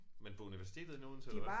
Men på universitetet inde i Odense eller hvad